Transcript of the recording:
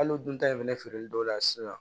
Hali o dun ta in fɛnɛ feereli dɔw la sisan